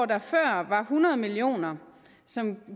der før var hundrede million kr som